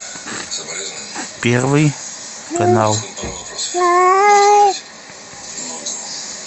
первый канал